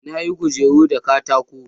Na yi kujeru da katako